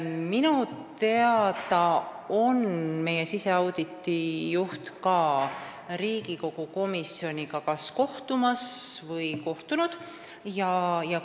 Minu teada on meie siseauditi juht ka Riigikogu komisjoniga kohtunud või kohtub lähiajal.